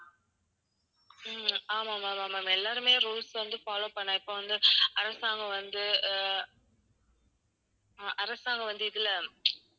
உம் ஆமா ma'am ஆமா ma'am எல்லாருமே rules வந்து follow பண்ணனும். இப்ப வந்து அரசாங்கம் வந்து அஹ் அஹ் அரசாங்கம் வந்து இதுல